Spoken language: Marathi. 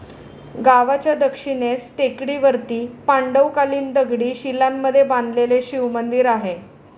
गावाच्या दक्षिणेस टेकडीवरती पांडवकालिन दगडी शिलांमध्ये बांधलेले शिवमंदिर आहे.